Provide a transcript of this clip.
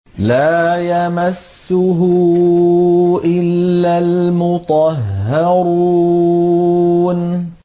لَّا يَمَسُّهُ إِلَّا الْمُطَهَّرُونَ